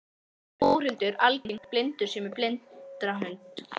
Þórhildur, er algengt að blindir séu með blindrahunda?